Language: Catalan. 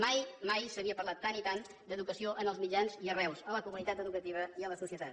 mai mai s’havia parlat tant i tant d’educació en els mitjans i arreu a la comunitat educativa i a la societat